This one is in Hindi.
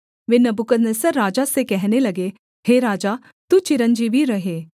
वे नबूकदनेस्सर राजा से कहने लगे हे राजा तू चिरंजीवी रहे